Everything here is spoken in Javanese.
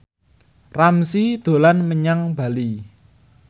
Ramzy dolan menyang Bali